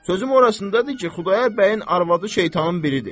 Sözüm orasındadır ki, Xudayar bəyin arvadı şeytanın biridir.